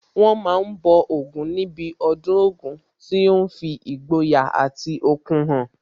Wọ́n ma ń bọ Ògún níbi ọdún Ògún tí ó ń fi ìgboyà àti okun hàn